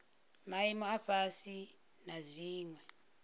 maimo a fhasi na dziwe